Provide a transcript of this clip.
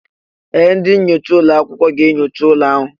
Ee! Ndị na-enyocha ụlọ akwụkwọ ga-enyocha ụlọ ahụ.